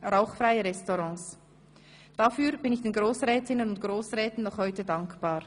Rauchfreie Restaurants – dafür bin ich den Grossrätinnen und Grossräten noch heute dankbar.